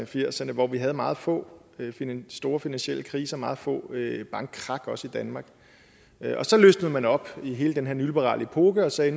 firserne hvor vi havde meget få store finansielle kriser meget få bankkrak også i danmark og så løsnede man det op i hele den her nyliberale epoke og sagde